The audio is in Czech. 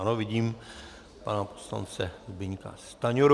Ano, vidím, pana poslance Zbyňka Stanjuru.